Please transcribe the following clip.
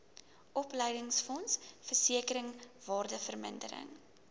opleidingsfonds versekering waardevermindering